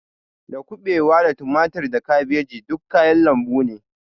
Da kuɓewa da tumatir da kabeji duk kayan lambu ne